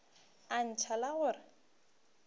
a ntšha la go re